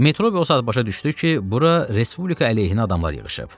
Metrobi o saat başa düşdü ki, bura respublika əleyhinə adamlar yığışıb.